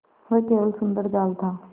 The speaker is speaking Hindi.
वह केवल सुंदर जाल था